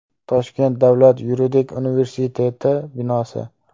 Toshkent davlat yuridik universiteti binosi.